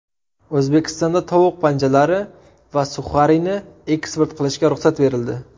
O‘zbekistonda tovuq panjalari va suxarini eksport qilishga ruxsat berildi.